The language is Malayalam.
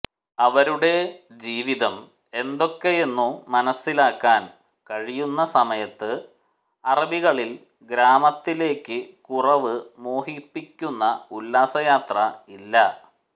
അവരുടെ ജീവിതം എന്തൊക്കെയെന്നു മനസ്സിലാക്കാൻ കഴിയുന്ന സമയത്ത് അറബികളിൽ ഗ്രാമത്തിലേക്കു കുറവ് മോഹിപ്പിക്കുന്ന ഉല്ലാസയാത്ര ഇല്ല